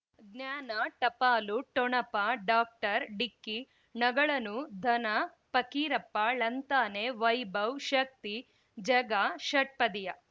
ಜ್ಞಾನ ಟಪಾಲು ಠೊಣಪ ಡಾಕ್ಟರ್ ಢಿಕ್ಕಿ ಣಗಳನು ಧನ ಫಕೀರಪ್ಪ ಳಂತಾನೆ ವೈಭವ್ ಶಕ್ತಿ ಝಗಾ ಷಟ್ಪದಿಯ